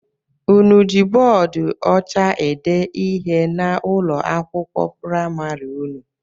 Ụnụ jị bọọdu ọcha ede ihe n'ụlọ akwụkwọ praịmarị ụnụ?